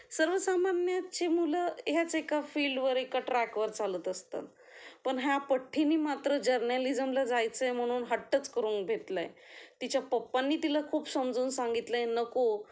सर्वसामान्याचे मुलं ह्याच एका फील्ड वर एका ट्रॅक वर चालत असतात. पण या पट्ठीनी मात्र जर्नालिझमला जायचे म्हणून हट्टच करून घेतलाय, तिच्या पप्पांनी तिला खूप समजावून सांगितले नको